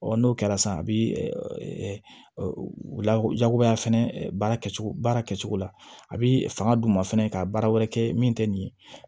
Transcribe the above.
n'o kɛra sisan a bɛ jagoya fɛnɛ baara kɛcogo baara kɛcogo la a bɛ fanga d'u ma fɛnɛ ka baara wɛrɛ kɛ min tɛ nin ye